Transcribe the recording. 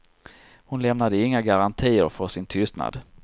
Hon lämnade inga garantier för sin tystnad.